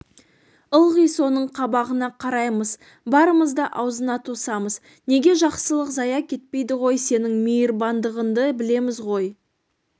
ылғи соның қабағына қараймыз барымызды аузына тосамыз неге жақсылық зая кетпейді ғой сенің мейірбандығыңды білеміз ғой